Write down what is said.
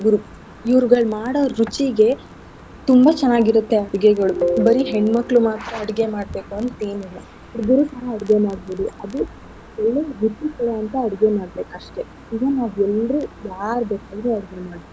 ಹುಡ್ಗುರು ಇವ್ರ್ಗಳ್ ಮಾಡೋ ರುಚಿಗೆ ತುಂಬಾ ಚೆನ್ನಾಗಿರತ್ತೆ ಅಡ್ಗೆಗಳು ಬರೀ ಹೆಣ್ ಮಕ್ಳು ಮಾತ್ರ ಅಡ್ಗೆ ಮಾಡ್ಬೇಕು ಅಂತ್ ಏನಿಲ್ಲ ಹುಡ್ಗುರು ಸಹ ಅಡ್ಗೆ ಮಾಡ್ಬೋದು ಅದು ಅಡ್ಗೆ ಮಾಡ್ಬೇಕಷ್ಟೆ. ಈಗ ನಾವೆಲ್ರು ಯಾರ್ ಬೇಕಾದ್ರು ಅಡ್ಗೆ ಮಾಡ್ಬೋದು.